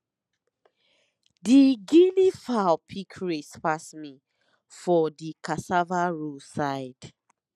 the guinea fowl pick race pass me for the cassava row side